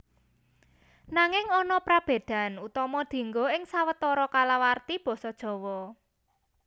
Nanging ana prabédan utama dienggo ing sawetara kalawarti basa Jawa